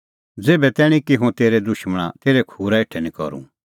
ज़ेभै तैणीं कि हुंह तेरै दुशमणा तेरै खूरा हेठै निं करूं